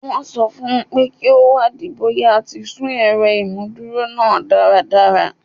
Wọ́n sọ fún un pé kí ó wádìí bóyá a ti ṣú ẹ̀rọ ìmúdúró náà dáradára